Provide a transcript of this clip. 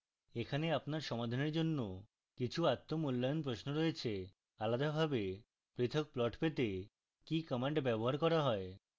এখানে আপনার সমাধানের জন্য কিছু আত্ম মূল্যায়ন প্রশ্ন রয়েছে